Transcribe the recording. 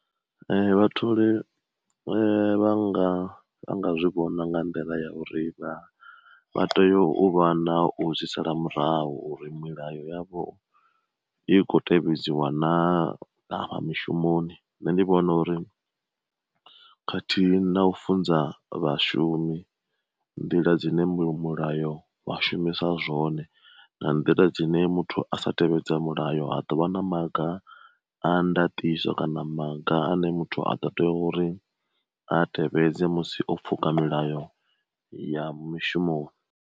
Vhatholi vhanga vha nga zwi vhona nga nḓila ya uri vha tea u vha na u zwi sala murahu uri milayo yavho i kho tevhedzwa na afha mishumoni, nṋe ndi vhona uri khathihi na u funza vhashumi nḓila dzine mu mulayo wa shumisa zwone nga nḓila dzine muthu a sa tevhedza mulayo a dovha na maga a ndatiso kana maga ane muthu a ḓo tea uri a tevhedze musi o pfuka milayo ya mushumoni.